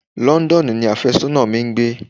Londonu ni afésónà mi ń gbé.